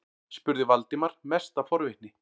spurði Valdimar, mest af forvitni.